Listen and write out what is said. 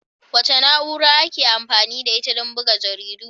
Wace na'ura ake amfani da ita don buga jaridu?